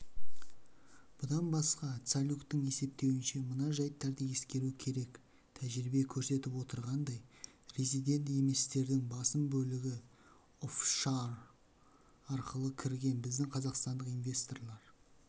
бұдан басқа цалюктің есептеуінше мына жайттарды ескеру керек тәжірибе көрсетіп отырғандай резидент еместердің басым бөлігі оффшор арқылы кірген біздің қазақстандық инвесторлар